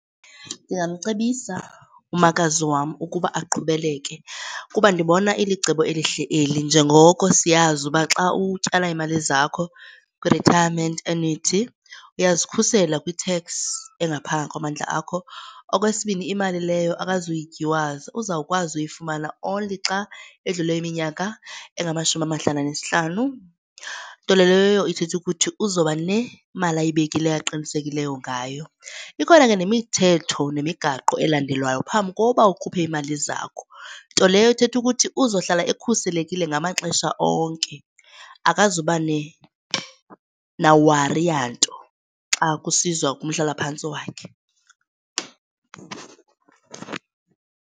Ndingamcebisa umakazi wam ukuba aqhubeleke kuba ndibona ilicebo elihle eli njengoko siyazi ukuba xa utyala iimali zakho kwi-retirement annuity uyazikhusela kwi-tax engapha kwamandla akho. Okwesibini, imali leyo akazuyityiwazi, uzawukwazi uyifumana only xa edlule iminyaka engamashumi amahlanu anesihlanu nto leyo ithetha ukuthi uzoba nemali ayibekileyo aqinisekileyo ngayo. Ikhona ke nemithetho nemigaqo elandelwayo phambi koba ukhuphe iimali zakho nto leyo ethetha ukuthi uzohlala ekhuselekile ngamaxesha onke, akazuba nawari yanto xa kusiziwa kumhlalaphantsi wakhe.